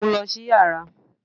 Mu u lọ si yara!